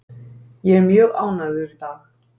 Ég er mjög ánægður í dag.